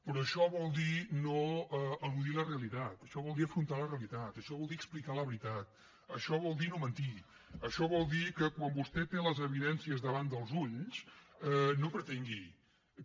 però això vol dir no eludir la realitat això vol dir afrontar la realitat això vol dir explicar la veritat això vol dir no mentir això vol dir que quan vostè té les evidències davant dels ulls no pretengui que